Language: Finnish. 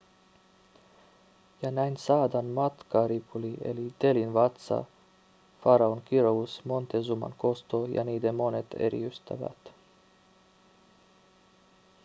ja näin saadaan matkaripuli eli delhin vatsa faraon kirous montezuman kosto ja niiden monet eri ystävät